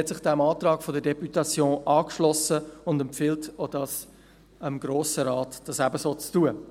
Sie hat sich dem Antrag der Députation angeschlossen und empfiehlt dem Grossen Rat, dies ebenfalls zu tun.